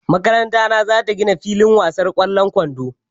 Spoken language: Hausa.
Makaranta na za ta gina filin wasan ƙwallon kwando.